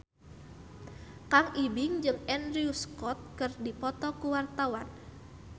Kang Ibing jeung Andrew Scott keur dipoto ku wartawan